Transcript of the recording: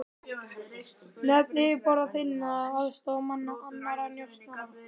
Nöfn yfirboðara þinna, aðstoðarmanna, annarra njósnara.